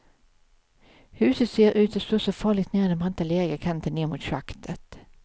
Huset ser ut att stå farligt nära den branta leriga kanten ned mot schaktet.